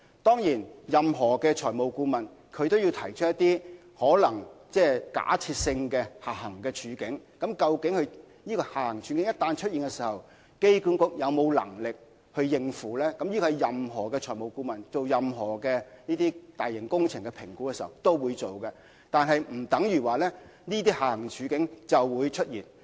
當然，任何財務顧問都會提出一些有可能出現的假設性下行處境，以評估一旦出現這些處境，機管局有沒有能力應付，這是任何財務顧問就大型工程進行評估時都會提出的，但並不表示這些下行處境一定會出現。